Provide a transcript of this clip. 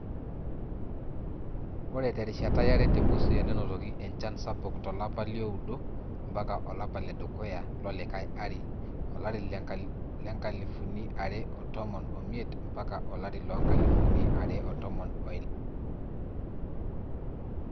Ore terishata yare te Busia nenotoki enchan sabuk to lapa liooudo mpaka olapa ledukuya lolikae ari olari le nkalifuni are otomon omiet mpaka olari loonkalifuni are otomon oile.